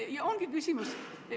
See ongi küsimus.